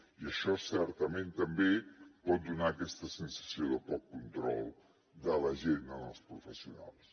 i això certament també pot donar aquesta sensació de poc control de l’agenda als professionals